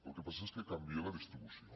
el que passa és que canvia la distribució